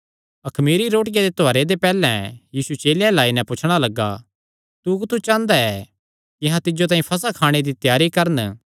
अखमीरी रोटिया दे त्योहारे दे पैहल्ले दिने चेले यीशु अल्ल आई नैं पुछणा लग्गे तू कुत्थू चांह़दा ऐ कि अहां तिज्जो तांई फसह खाणे दी त्यारी करन